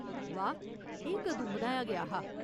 वाह्, एह् कदूं बनाया गेआ हा?